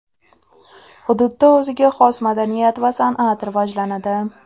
Hududda o‘ziga xos madaniyat va san’at rivojlanadi .